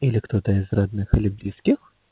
или кто-то из родных и близких